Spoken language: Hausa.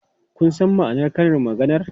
Kun san ma'anar karin maganar?